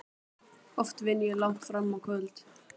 Oft vinn ég langt fram á kvöld.